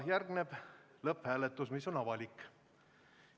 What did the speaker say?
Järgneb lõpphääletus, mis on avalik.